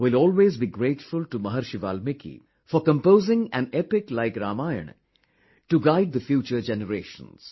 We will always be grateful to Maharishi Valmiki for composing an epic like Ramayana to guide the future generations